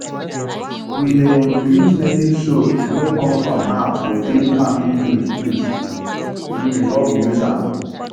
we dey um use native soap wey come from herbs to clean farming tools tools um before we use am